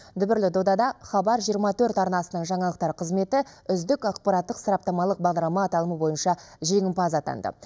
дүбірлі додада хабар жиырма төрт арнасының жаңалықтар қызметі үздік ақпараттық сараптамалық бағдарлама аталымы бойынша жеңімпаз атанды